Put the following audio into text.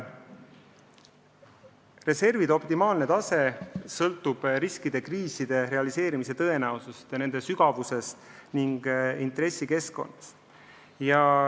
Reservide optimaalne suurus sõltub riskide, kriisi realiseerumise tõenäosusest, kriisi sügavusest ja ka intressikeskkonnast.